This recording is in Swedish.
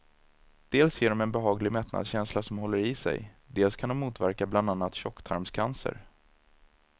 Dels ger de en behaglig mättnadskänsla som håller i sig, dels kan de motverka bland annat tjocktarmscancer.